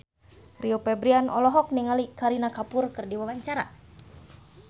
Rio Febrian olohok ningali Kareena Kapoor keur diwawancara